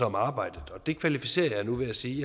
om arbejdet og det kvalificerer jeg nu ved at sige